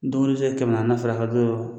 Don dɔ i bɛ se ka kɛmɛ naanina fara a kan don